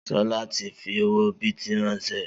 Sola tí fi owó bìtì ránsẹ́